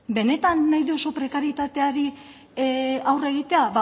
benetan nahi duzu prekarietateari aurre egitea